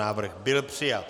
Návrh byl přijat.